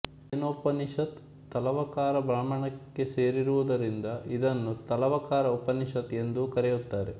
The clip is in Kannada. ಕೇನೋಪನಿಷತ್ ತಲವಕಾರ ಬ್ರಾಹ್ಮಣಕ್ಕೆ ಸೇರಿರುವದರಿಂದ ಇದನ್ನು ತಲವಕಾರ ಉಪನಿಷತ್ ಎಂದೂ ಕರೆಯುತ್ತಾರೆ